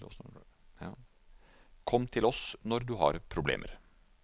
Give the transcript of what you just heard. Kom til oss når du har problemer.